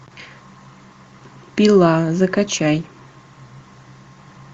пила закачай